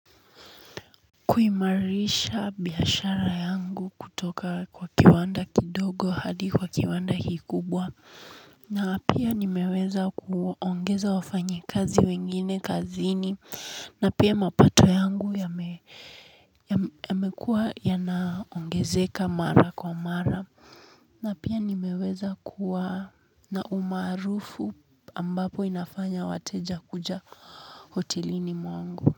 Kuimarisha biashara yangu kutoka kiwanda kidogo hadi kuwa kiwanda kikubwa, na pia nimeweza kuongeza wafanyakazi wengine kazini pia mapato yangu. Yamekuwa yanaongezeka mara kwa mara, na pia nimeweza kuwa na umaarufu ambao unafanya wateja kuja hotelini mwangu. Kwa hivyo.